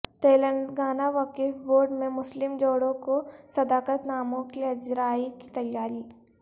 تلنگانہ وقف بورڈ میں مسلم جوڑوں کو صداقت ناموں کی اجرائی کی تیاری